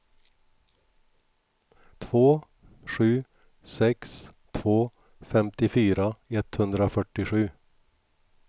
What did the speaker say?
två sju sex två femtiofyra etthundrafyrtiosju